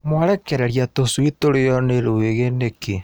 Mwarekereria tũcui tũrĩo nĩ rwĩgĩ nĩkĩ.